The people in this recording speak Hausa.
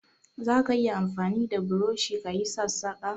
Zaka iya amfani da burushi ka yi sassaƙa?